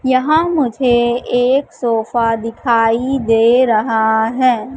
यहां मुझे एक सोफा दिखाई दे रहा है।